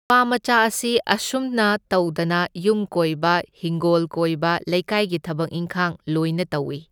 ꯅꯨꯄꯥꯃꯆꯥ ꯑꯁꯤ ꯑꯁꯨꯝꯅ ꯇꯧꯗꯅ ꯌꯨꯝ ꯀꯣꯏꯕ ꯍꯤꯡꯒꯣꯜ ꯀꯣꯏꯕ ꯂꯩꯀꯥꯏꯒꯤ ꯊꯕꯛ ꯏꯟꯈꯥꯡ ꯂꯣꯢꯅ ꯇꯧꯢ꯫